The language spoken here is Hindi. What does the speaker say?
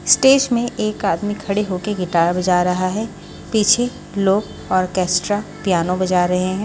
स्टेस में एक आदमी खड़े हो के गिटार बजा रहा है पीछे लोग आर्केस्ट्रा पियानो बजा रहे हैं।